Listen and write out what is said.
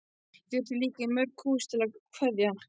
Ég þurfti að líta í mörg hús til að kveðja.